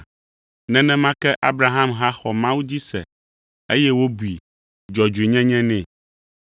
Nenema ke Abraham hã xɔ Mawu dzi se, eye wobui dzɔdzɔenyenye nɛ.